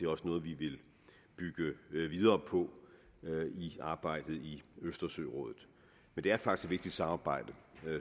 også noget vi vil bygge videre på i arbejdet i østersørådet det er faktisk et vigtigt samarbejde